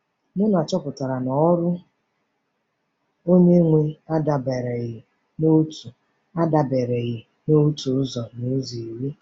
Muna chọpụtara na ọrụ Onye-nwe adabereghị n’otu adabereghị n’otu ụzọ n’ụzọ iri.